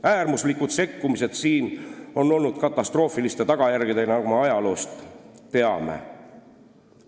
Äärmuslikud sekkumised on olnud katastroofiliste tagajärgedega, nagu me ajaloost teame.